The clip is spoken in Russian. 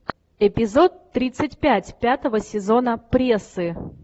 эпизод тридцать пять пятого сезона прессы